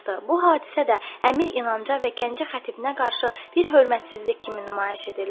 Bu hadisə də əmir İnanca və Gəncə xətibinə qarşı bir hörmətsizlik kimi nümayiş edildi.